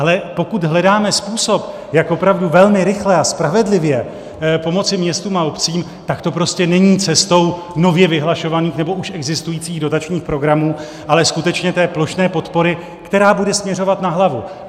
Ale pokud hledáme způsob, jak opravdu velmi rychle a spravedlivě pomoci městům a obcím, tak to prostě není cestou nově vyhlašovaných nebo už existujících dotačních programů, ale skutečně té plošné podpory, která bude směřovat na hlavu.